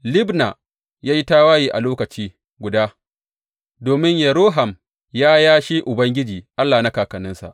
Libna ya yi tawaye a lokaci guda, domin Yehoram ya yashe Ubangiji Allah na kakanninsa.